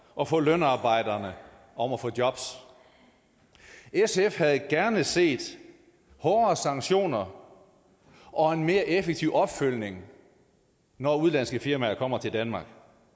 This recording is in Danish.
og for lønarbejderne om at få jobs sf havde gerne set hårdere sanktioner og en mere effektiv opfølgning når udenlandske firmaer kommer til danmark